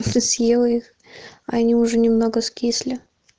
просто съела их они уже немного скисли